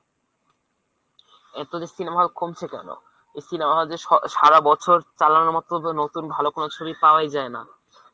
এত যে cinema hall কমছে কেন ? এই cinema hall দের স~ সারা বছর চালানোর মত ওদের নতুন ভাল কোন ছবি পাওয়াই যায় না।